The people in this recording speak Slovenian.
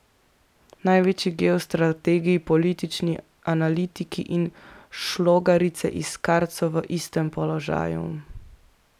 Največji geostrategi, politični analitiki in šlogarice iz kart so v istem položaju.